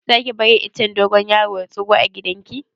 Za ki bari icen dogon yaro ya tsiro a gidan ki?